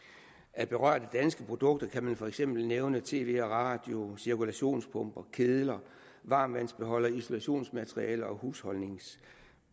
af berørte danske produkter kan man for eksempel nævne tv og radio cirkulationspumper kedler varmtvandsbeholdere isolationsmateriale og husholdningsudstyr